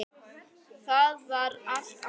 Það var allt annað.